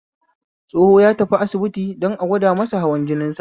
Tsoho ya tafi asibiti don a gwada masa hawan jinin sa